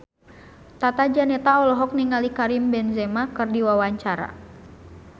Tata Janeta olohok ningali Karim Benzema keur diwawancara